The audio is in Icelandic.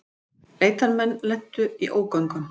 Leitarmenn lentu í ógöngum